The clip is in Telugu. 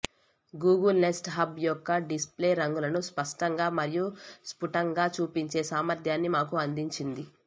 గూగుల్ నెస్ట్ హబ్ యొక్క డిస్ప్లే రంగులను స్పష్టంగా మరియు స్ఫుటంగా చూపించే సామర్థ్యాన్ని మాకు అందించింది